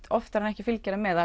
oftar en ekki fylgir það með